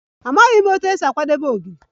Amaghị m otú e si akwadebe Ogiri